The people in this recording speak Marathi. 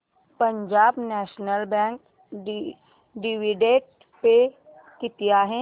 Punjab National Bank dividend pay किती आहे